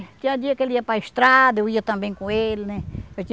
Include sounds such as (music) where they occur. Tinha dia que ele ia para estrada, eu ia também com ele né. (unintelligible)